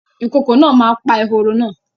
Ìkokò náà ma pa eworo náà